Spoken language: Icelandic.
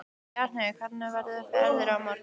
Bjarnheiður, hvernig verður veðrið á morgun?